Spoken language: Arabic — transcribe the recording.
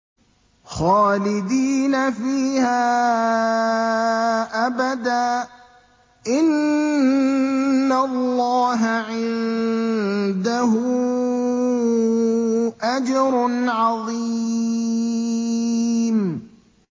خَالِدِينَ فِيهَا أَبَدًا ۚ إِنَّ اللَّهَ عِندَهُ أَجْرٌ عَظِيمٌ